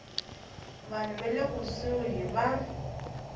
vanhu va le kusuhi va